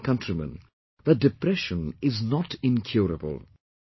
I want to tell my countrymen, that depression is not incurable